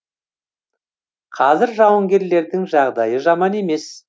қазір жауынгерлердің жағдайы жаман емес